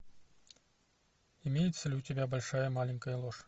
имеется ли у тебя большая маленькая ложь